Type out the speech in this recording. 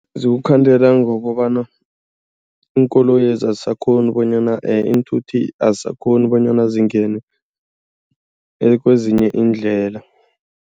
Zikukhandela ngokobana iinkoloyezi azisakghoni bonyana, iinthuthi azisakghoni bonyana zingene kwezinye iindlela.